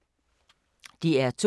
DR2